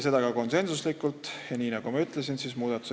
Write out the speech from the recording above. See otsus tehti ka konsensusega.